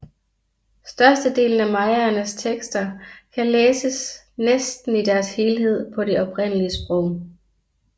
Størstedelen af mayaernes tekster kan læses næsten i deres helhed på det oprindelige sprog